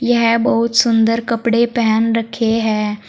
यह बहुत सुंदर कपड़े पहन रखे हैं।